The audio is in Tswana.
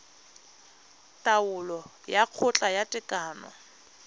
taolo ya kgotla ya tekano